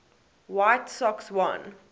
white sox won